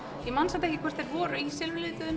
ég man samt ekki hvort þau voru í